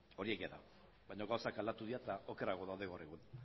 hori egia da baino gauzak aldatu dira eta okerrago daude oraindik